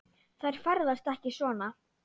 Þær ferðast ekki svona.